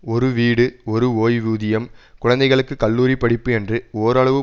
ஒரு வீடு ஒரு ஓய்வூதியம் குழந்தைகளுக்கு கல்லூரி படிப்பு என்று ஓரளவு